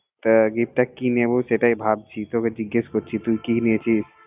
তো gift টা কি নিবো সেটাই ভাবছি তোরে জিঙ্গেস করছি তুই কি নিয়েছিস